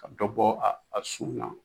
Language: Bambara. Ka dɔ bɔ a sun na.